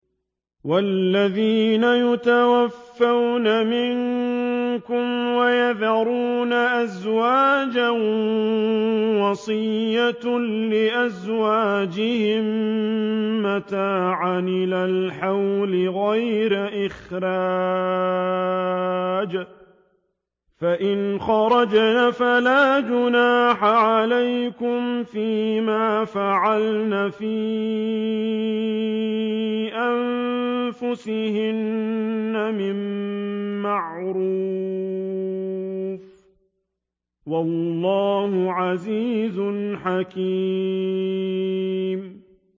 وَالَّذِينَ يُتَوَفَّوْنَ مِنكُمْ وَيَذَرُونَ أَزْوَاجًا وَصِيَّةً لِّأَزْوَاجِهِم مَّتَاعًا إِلَى الْحَوْلِ غَيْرَ إِخْرَاجٍ ۚ فَإِنْ خَرَجْنَ فَلَا جُنَاحَ عَلَيْكُمْ فِي مَا فَعَلْنَ فِي أَنفُسِهِنَّ مِن مَّعْرُوفٍ ۗ وَاللَّهُ عَزِيزٌ حَكِيمٌ